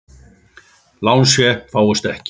Lánsfé fáist ekki.